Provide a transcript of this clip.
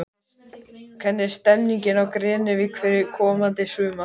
Hvernig er stemmingin á Grenivík fyrir komandi sumar?